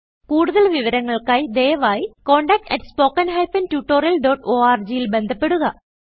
കുടുതൽ വിവരങ്ങൾക്കായി ദയവായിcontactspoken tutorialorg ൽ ബന്ധപ്പെടുക